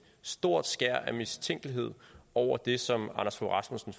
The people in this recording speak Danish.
stort skær af mistænkeliggørelse over det som anders fogh rasmussen